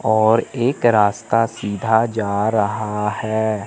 और एक रास्ता सीधा जा रहा है।